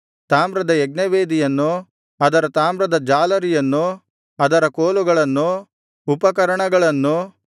ತಾಮ್ರದ ಯಜ್ಞವೇದಿಯನ್ನು ಅದರ ತಾಮ್ರದ ಜಾಲರಿಯನ್ನು ಅದರ ಕೋಲುಗಳನ್ನು ಉಪಕರಣಗಳನ್ನು